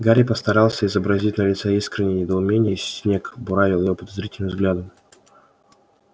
гарри постарался изобразить на лице искреннее недоумение снегг буравил его подозрительным взглядом